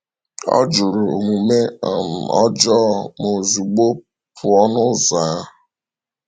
“Ọ jụrụ omume um ọjọọ ma ozugbo pụọ n’ụzọ ahụ.”